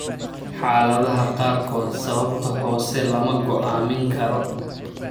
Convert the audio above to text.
Xaaladaha qaarkood sababta hoose lama go'aamin karo.